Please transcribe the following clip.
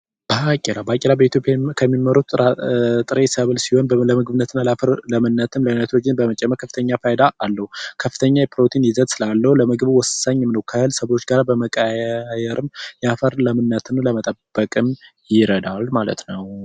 ባቄላ፡ ባቄላ በኢትዮጵያ ከሚመረቱ የጥራጥሬ ሰብል አይነቶች ውስጥ አንዱ ሲሆን የአፈር ለምነትን የናይትሮጅን መጠን በመጨመርም ከፍተኛ ጥቅም አለው። ከፍተኛ የፕሮቲን ይዘት ስላለው ለምግብ ወሳኝ ነው ከተለያዩ ሰብሎች ጋር በመቀየር የአፈር ለምነትን ለመጠበቅ ይረዳል ማለት ነው።